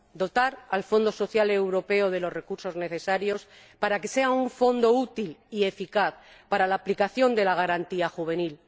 Hay que dotar al Fondo Social Europeo de los recursos necesarios a fin de que sea un fondo útil y eficaz para la aplicación de la garantía juvenil.